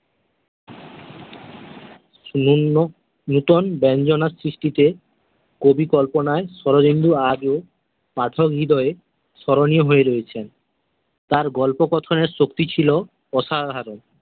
নুতন বেঞ্জনার সৃষ্টিতে, কবি কাল্পনায় শরদিন্দু আগেও পাঠক হৃদয়ে স্মরণীয় হয়ে রয়েছেন। তার গল্প কথনের শক্তি ছিল আসারণ।